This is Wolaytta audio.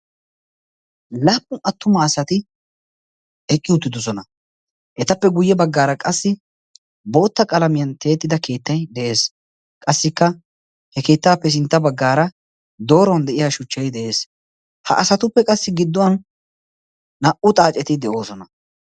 laappun attuma asati eqqi uttidusona etappe guyye baggaara qassi bootta qalamiyan teettida keettay de'ees qassikka he keettaappe sintta baggaara dooruwan de'iya shuchchay de'ees ha asatuppe qassi gidduwan naa''u xaaceti de'oosona